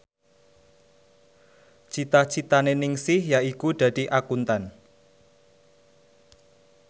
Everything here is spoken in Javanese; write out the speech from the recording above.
cita citane Ningsih yaiku dadi Akuntan